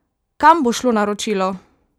Kam bo šlo naročilo?